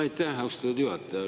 Aitäh, austatud juhataja!